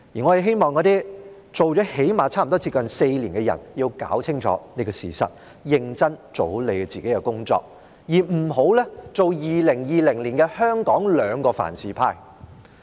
我希望那些做了差不多4年議員的人要弄清楚這個事實，認真做好你們的工作，而不要做2020年香港的"兩個凡是"派。